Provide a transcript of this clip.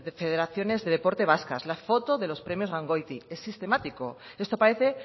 federaciones de deporte vascas la foto de los premios gangoiti es sistemático esto parece